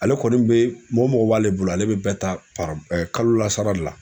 Ale kɔni bɛ mɔgɔ mɔgɔ b'ale bolo, ale bɛ bɛɛ ta papi ɛ kalo la sara de la.